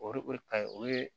O de o de kaɲi o ye